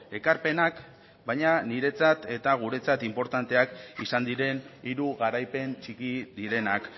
ekarpenak baina niretzat eta guretzat inportanteak izan diren hiru garaipen txiki direnak